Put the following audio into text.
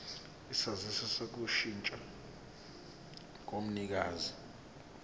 isaziso sokushintsha komnikazi